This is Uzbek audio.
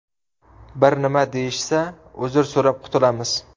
Bir nima deyishsa, uzr so‘rab qutulamiz.